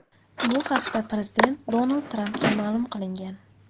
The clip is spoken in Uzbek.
Bu haqda prezident Donald Trampga ma’lum qilingan.